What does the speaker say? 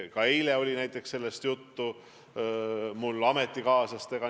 Ka eile oli mul sellest ametikaaslastega juttu.